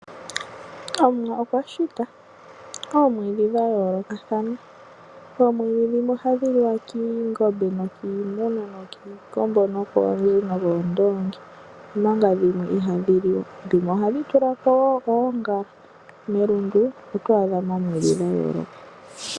Omuwa okwashita oomwiidhi dha yoolokathana. Omwiidhi ndhino ohadhi liwa koongombe, kiingulu, kiikombo, nokoondoongi omanga dhimwe ihadhi liwa. dhimwe ohadhi tulako oongala . Melundu oto adhamo oomwiidhi dha yooloka.